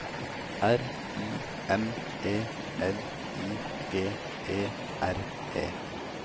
R I M E L I G E R E